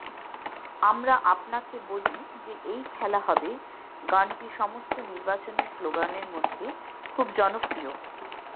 আমরা আপনাকে বলি যে এই খেলা হবে গানটি সমস্ত নির্বাচনী স্লোগানের মধ্যে খুব জনপ্রিয়